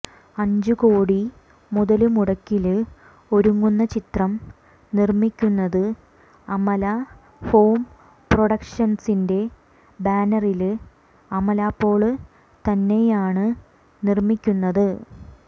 അഞ്ച് കോടി മുതല് മുടക്കില് ഒരുങ്ങുന്ന ചിത്രം നിര്മ്മിക്കുന്നത് അമലാ ഹോം പ്രൊഡക്ഷന്സിന്റെ ബാനറില് അമല പോള് തന്നെയാണ് നിര്മിക്കുന്നത്